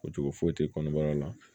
Ko cogo foyi tɛ kɔnɔbara la